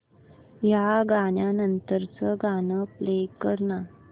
या गाण्या नंतरचं गाणं प्ले कर ना